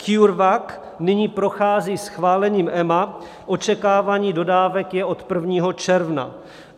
CureVac nyní prochází schválením EMA - očekávání dodávek je od 1. června.